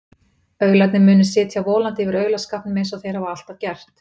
Aularnir munu sitja volandi yfir aulaskapnum eins og þeir hafa alltaf gert.